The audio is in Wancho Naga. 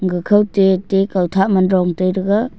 gachou te te kautha ma dongtai taiga.